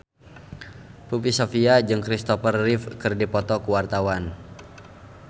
Poppy Sovia jeung Christopher Reeve keur dipoto ku wartawan